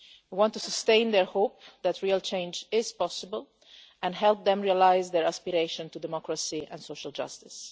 We want to sustain their hope that real change is possible and help them realise their aspiration to democracy and social justice.